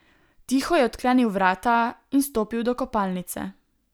Tiho je odklenil vrata in stopil do kopalnice.